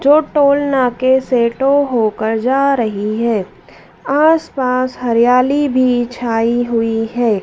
जो टोल नाके से टो होकर जा रही है आस पास हरियाली भी छाई हुई है।